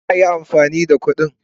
kar a Yi amfani da gudun